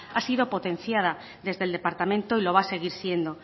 ha sido potenciada desde el departamento y lo va a seguir siendo